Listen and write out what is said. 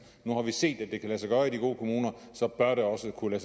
nu har vi set at det kan lade sig gøre i de gode kommuner så bør det også kunne